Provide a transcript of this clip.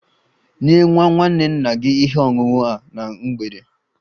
Nye nwa nwanne nna gị ihe ọṅụṅụ a na mgbede!